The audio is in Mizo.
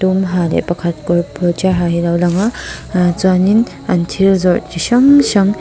ha leh pakhat kawr kawr tial ha hi a lo lang a aah chuan in an thil zawrh chi hrang hrang--